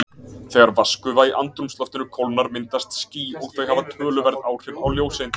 Þegar vatnsgufa í andrúmsloftinu kólnar myndast ský og þau hafa töluverð áhrif á ljóseindir.